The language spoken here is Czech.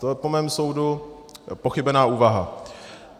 To je po mém soudu pochybená úvaha.